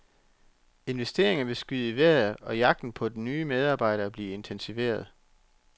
Investeringer vil skyde i vejret, og jagten på nye medarbejdere blive intensiveret.